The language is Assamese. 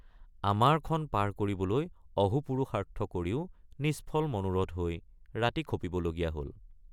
আমাৰখন পাৰ কৰিবলৈ অহোপুৰুষাৰ্থ কৰিও নিষ্ফল মনোৰথ হৈ ৰাতি খপিবলগীয়া হল।